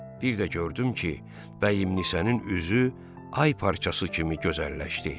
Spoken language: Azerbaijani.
Bir də gördüm ki, bəyimlinsənin üzü ay parçası kimi gözəlləşdi.